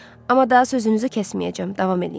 Amma daha sözünüzü kəsməyəcəm, davam eləyin.